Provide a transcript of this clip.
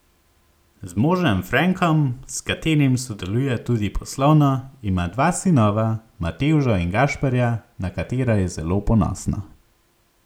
Z možem Frenkom, s katerim sodeluje tudi poslovno, ima dva sinova, Matevža in Gašperja, na katera je zelo ponosna.